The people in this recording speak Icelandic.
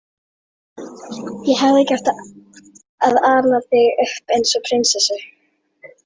Ég hefði ekki átt að ala þig upp eins og prinsessu.